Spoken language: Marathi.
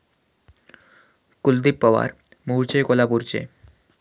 कुलदीप पवार मूळचे कोल्हापूरचे.